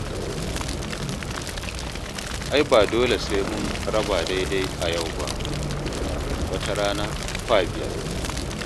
Ai ba dole sai mun raba daidai a yau ba, wata rana kwa biya.